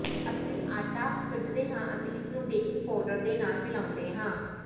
ਅਸੀਂ ਆਟਾ ਕੱਢਦੇ ਹਾਂ ਅਤੇ ਇਸ ਨੂੰ ਬੇਕਿੰਗ ਪਾਊਡਰ ਦੇ ਨਾਲ ਮਿਲਾਉਂਦੇ ਹਾਂ